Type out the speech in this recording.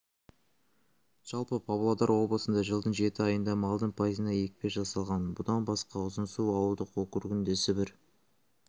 жалпы палодар облысында жылдың жеті айында малдың пайызына екпе жасалған бұдан басқа ұзынсу ауылдық округінде сібір